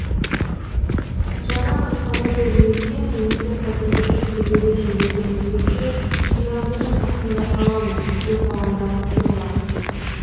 жаңа баспана берілмесе немесе қазіргісі күрделі жөндеуден өтпесе қирандының астында қаламыз деп алаңдап отыр олар